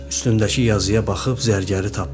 üstündəki yazıya baxıb zərgəri tapdılar.